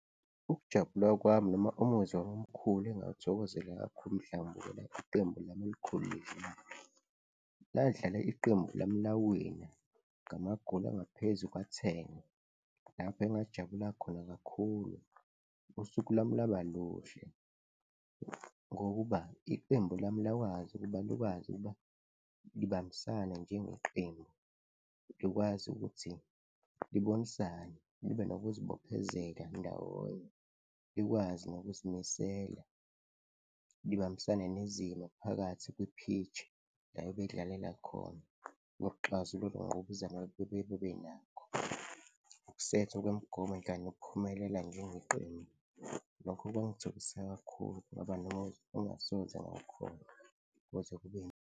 Ukujabula kwami noma umuzwa omkhulu engawuthokozela kakhulu mhla ngibukela iqembu lami elikhulu lidlala, ladlala iqembu lami lawina ngamagoli angaphezu kwa-ten. Lapho engajabula khona kakhulu, usuku lwami lwaba luhle ngokuba iqembu lami lakwazi ukuba likwazi ukuba libambisane njengeqembu, likwazi ukuthi libonisane libe nokuzibophezela ndawonye, likwazi nokuzimisela libambisane nezimo phakathi kwi-pitch la bebedlalela khona nokuxazulula ukungqubuzana bebenakho, ukusethwa kwemigomo kanye nokuphumelela njengeqembu, lokhu kwangithokozisa kakhulu ngoba engingasoze ngakhohlwa kuze kube.